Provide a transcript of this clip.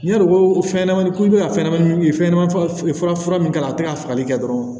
N'i y'a dɔn ko fɛnɲɛnamani ko i bɛ ka fɛnɲɛnɛmanin fɛnɲɛnɛmanin fura min k'a la a tɛ ka fagali kɛ dɔrɔn